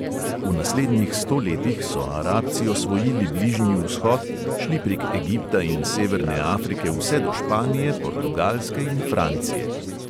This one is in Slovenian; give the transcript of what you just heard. V naslednjih sto letih so arabci osvojili bližnji vzhod, šli prek egipta in severne afrike vse do španije, portugalske in francije.